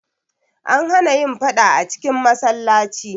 An hana yin faɗa a cikin masallaci.